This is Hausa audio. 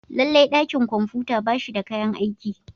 Lallai dakin kwamfuta ba shi da kayan aiki.